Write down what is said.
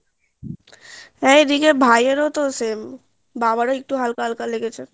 হ্যাঁ এদিকে ভাই এরাও তো same বাবারও একটু একটু হালকা করে হালকা লেগেছে